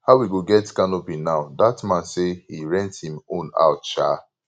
how we go get canopy now dat man say he rent im own out um